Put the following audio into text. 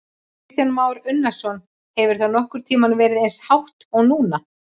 Kristján Már Unnarsson: Hefur það nokkurn tímann verið eins hátt og núna?